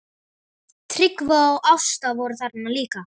Tryggvi og Ásta voru þarna líka.